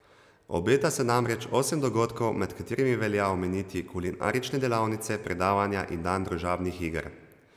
Obeta se namreč osem dogodkov, med katerimi velja omeniti kulinarične delavnice, predavanja in dan družabnih iger.